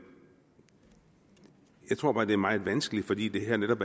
jeg tror bare at det er meget vanskeligt fordi det her netop